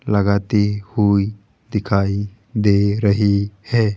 लगाती हुई दिखाई दे रही है।